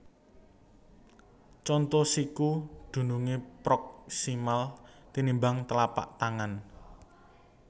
Conto Siku dunungé proksimal tinimbang tlapak tangan